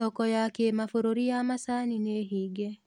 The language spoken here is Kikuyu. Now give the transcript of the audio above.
Thoko ya kĩmabũrũri ya macani nĩhinge.